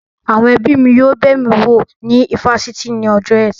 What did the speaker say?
Àwọn ẹbí mi yóò bẹ̀ mí wo ní ifásitì ní ọjọ́ ẹtì